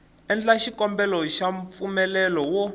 endla xikombelo xa mpfumelelo wo